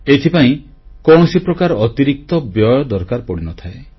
ଏଥିପାଇଁ କୌଣସି ପ୍ରକାର ଅତିରିକ୍ତ ବ୍ୟୟ ଦରକାର ପଡ଼ିନଥାଏ